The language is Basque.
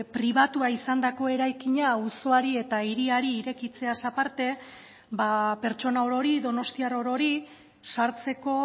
pribatua izandako eraikina auzoari eta hiriari irekitzeaz aparte ba pertsona orori donostiar orori sartzeko